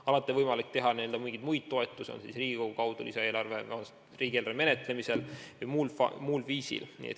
Alati on võimalik anda mingeid muid toetusi, on see siis Riigikogu kaudu riigieelarve menetlemisel või muul viisil.